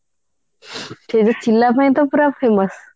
କିନ୍ତୁ ଛିଲା ପାଇଁ ତ ପୁରା famous